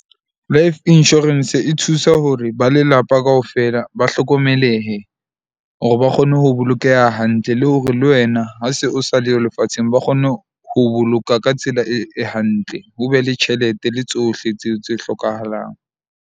Life insurance e thusa hore ba lelapa kaofela ba hlokomelehe, hore ba kgone ho bolokeha hantle le hore le wena ha se o sa leyo lefatsheng, ba kgone ho boloka ka tsela e hantle. Ho be le tjhelete le tsohle tseo tse hlokahalang.